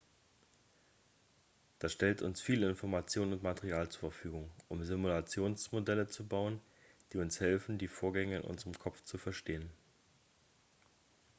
das stellt uns viele informationen und material zur verfügung um simulationsmodelle zu bauen die uns helfen die vorgänge in unserem kopf zu verstehen